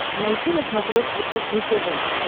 найти на смотрешке кухня тв